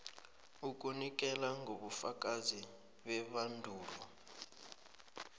ukunikela ngobufakazi bebandulo